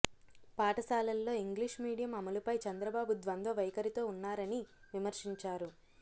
పాఠశాలల్లో English medium అమలుపై చంద్రబాబు ద్వంద్వ వైఖరితో ఉన్నారని విమర్శించారు